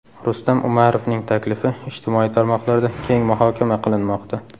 Rustam Umarovning taklifi ijtimoiy tarmoqlarda keng muhokama qilinmoqda.